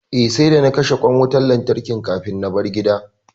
Eh, sai da na kashe ƙwan wutan lantarkin kafin na bar gida